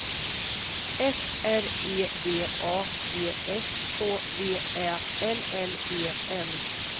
F R E D A G S K V Ä L L E N